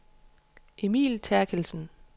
Emil Therkildsen